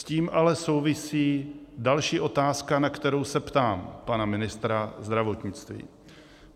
S tím ale souvisí další otázka, na kterou se ptám pana ministra zdravotnictví.